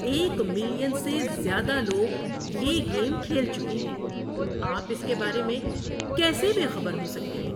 ایک ملین سے زیادہ لوگ یہ گیم کھیل چکے ہیں۔ آپ اس کے بارے میں کیسے بے خبر ہو سکتے ہیں؟